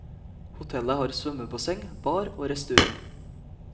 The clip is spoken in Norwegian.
Hotellet har svømmebasseng, bar og restaurant.